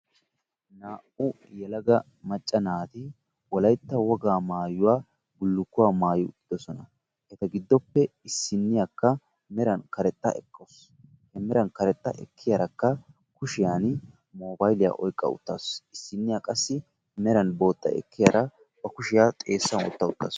Naa"u yelaga macca naati wolaytta wogaa maayuwa bullukkuwa maayi uttiddossona. Eta giddoppe issinniyakka meran karexxa ekkawusu. He meran karexxa ekkiyarakka kushiyan moobayiliya oyqqa uttaasu. issiniya qassi meran booxxa ekkiyara ba kushshiya xeessan wotta uttaasu.